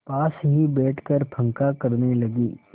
पास ही बैठकर पंखा करने लगी